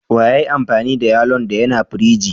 Wa ya yi amfani da yallo'n da ya na firiji?